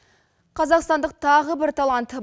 қазақстандық тағы бір талант